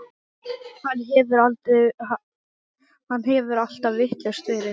Hann hefur alltaf vitlaus verið.